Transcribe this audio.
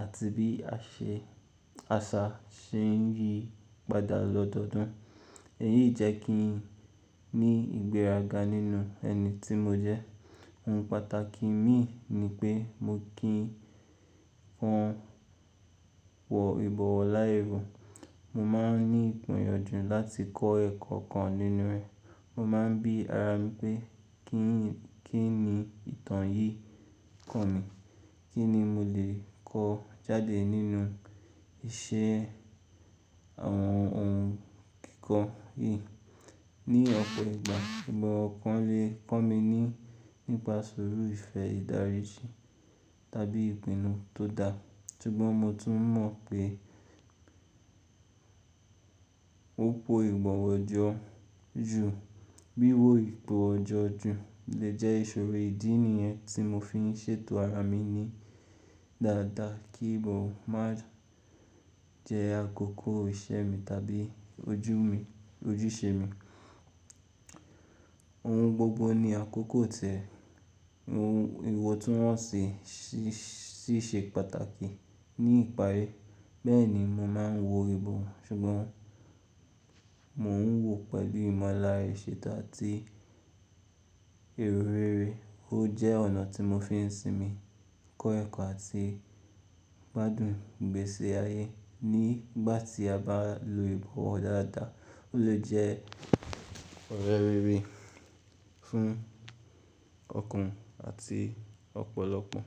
àti bí àṣà ṣe ń yí padà lọ́dọọdún. Èyí jẹ́ kí n ní ìgbéraga nínú ẹni tí mo jẹ́. Ohun pàtàkì mi ni pé mo kí fún wọ ìbọ̀wọ̀ láì ro. Mo máa ń ní ìgbọ́yànjú láti kọ́ ẹ̀kọ́ kan nínú rẹ̀. Mo máa ń bí ara mi pé kí ni ìtàn yìí kọ̀ mí, kí ni mo lè kọ́ jáde nínú iṣẹ́ àwọn ohun kíkọ yìí. Ni ọ̀pọ̀ ìgbà, ìbọ̀wọ̀ kan lè kọ́ mi ní nípa ìṣòro ìfẹ́ ìdaríji tàbí ìpinnu tó da. Sugbọn mo tún mọ̀ pé òpó ìbọ̀wọ̀ ọjọ́ ju, bí wò ìbọ̀wọ̀ ọjọ́ ju lè jẹ́ ìṣòro ìdí nìyẹn tí mo fi ń ṣètò ara mi ní dáadáa kí ìbọ̀wọ̀ má jẹ́ àkókò iṣẹ́ mi tàbí ojú mi, ojúṣe mi. Ohun gbogbo ni àkókò tẹ̀, ìwọ̀ tí wọ́n ṣe sì ṣe pàtàkì ní ìparí. Bẹ́ẹ̀ ni mo máa ń wo ìbọ̀wọ̀ ṣùgbọ́n mò ń wò ó pẹ̀lú ìmọ̀lára ìṣètò àti èro rere. Ó jẹ́ ọ̀nà tí mo fi ń sinmi, kọ́ ẹ̀kọ́ àti gbádùn ìgbésí ayé. Nígbà tí a bá lo ìbọ̀wọ̀ dáadáa, ó lè jẹ́ ọ̀rẹ́ rere fún ọ̀kùnrin àti ọ̀pọ̀lọpọ̀